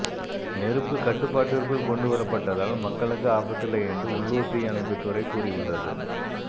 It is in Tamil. நெருப்பு கட்டுப்பாட்டிற்குள் கொண்டுவரப்பட்டதால் மக்களுக்கு ஆபத்தில்லை என்று உள்ளூர் தீ அணைப்பு துறை கூறியுள்ளது